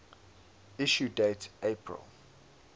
issue date april